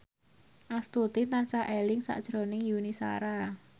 Astuti tansah eling sakjroning Yuni Shara